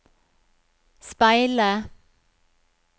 speile